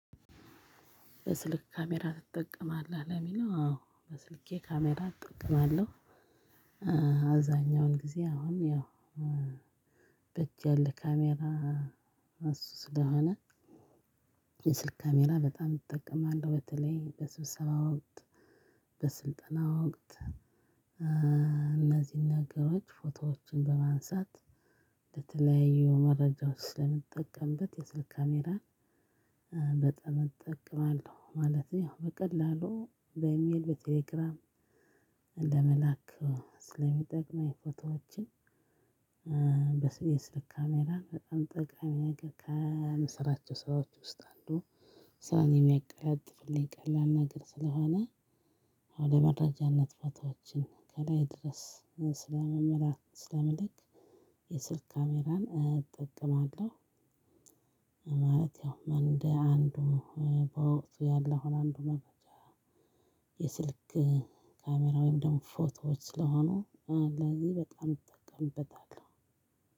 በስልክ ካሜራ ትጠቀማለህ? ለሚለው አዎ በስልኬ ካሜራ እጠቀማለሁ። አብዛኛውን ጊዜ አሁን ያው በእጅ ያለ ካሜራ እሱ ስለሆነ የስልክ ካሜራ በጣም እጠቀማለሁ በተለይ በስብሰባው ወቅት በስልጠና ወቅት እነዚህን ነገሮች ፎቶዎችን ለማንሳት ለተለያዩ መረጃዎች ስለምጠቀምበት የስልክ ካሜራ በጣም እጠቀማለሁ። ማለቴ ያው በቀላሉ በኢሜል በቴሌግራም ለመላክ ስለሚጠቅመኝ ፎቶዎችን የስልክ ካሜራ በጣም ጥቃሚ ነገር ከምሰራቸው ሰዎች ውስጥ አንዱ ስራዬን የሚያቀጥፍልኝ ቀላል ነገር ስለሆነ አሁን ለመረጃ ነጥቦቻችን ከላይ ድረስ ስለመመላክ ስለመልክ የስልክ ካሜራን እጠቀማለሁ። ማለት ያው እንደ አንዱ በወቅቱ ያለው አንዱ መረጃ የስልክ ካሜራ ወይም ደግሞ ፎቶዎች ስለሆኑ ለዚህ በጣም እጠቀምበታለሁ።